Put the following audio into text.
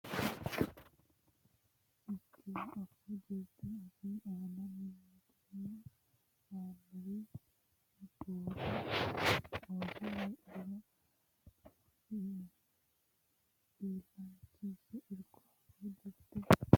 Irko Afuu jirte gafi aana mitiimma noonsari boode ooso heedhuro mitiimma leeltannonsa afuu jirte biso badde illachishi Irko Afuu jirte.